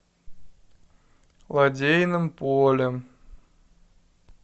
лодейным полем